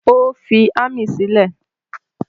Ó ti fi ámì sílẹ̀.